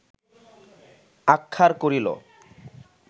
আহ্মার করিল